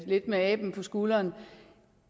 lidt med aben på skulderen